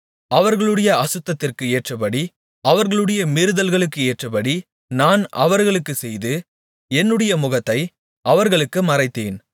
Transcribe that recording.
அவர்களுடைய அசுத்தத்திற்கு ஏற்றபடி அவர்களுடைய மீறுதல்களுக்கு ஏற்றபடி நான் அவர்களுக்குச் செய்து என்னுடைய முகத்தை அவர்களுக்கு மறைத்தேன்